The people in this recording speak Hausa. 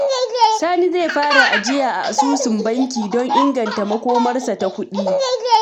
Sani zai fara ajiya a asusun banki don inganta makomarsa ta kuɗi.